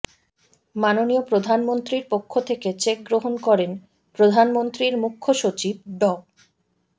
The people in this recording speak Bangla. মাননীয় প্রধানমন্ত্রীর পক্ষ থেকে চেক গ্রহন করেন প্রধানমন্ত্রীর মুখ্য সচিব ড